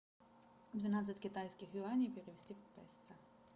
двенадцать китайских юаней перевести в песо